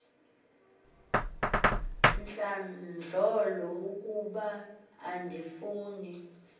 ntlandlolo ukuba andifuni